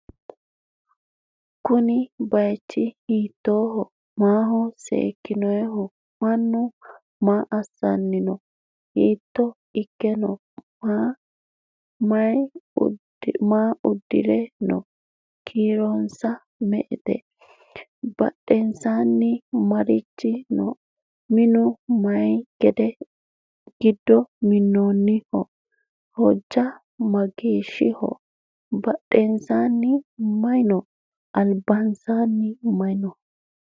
kuuni bayichu hitoho? maho sekinoniho? mannu maasanino? hitto iikke no?maa uddire noo? kiironsa me"ete? badhensani marichi no?minu mayi gido minoniho? hoja mageshiho? bafheseni mayi no?albaseni mayi no?